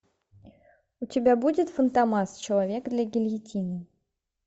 у тебя будет фантомас человек для гильотины